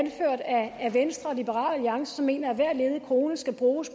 venstre og liberal alliance som mener at hver ledig krone skal bruges